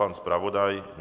Pan zpravodaj?